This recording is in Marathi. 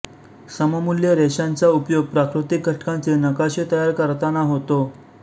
सममूल्य रेषांचाउपयोग प्राकृतिक घटकांचे नकाशे तयार करताना होतो